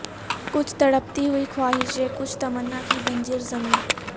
کچھ تڑپتی ہوئی خواہشیں کچھ تمنا کی بنجر زمیں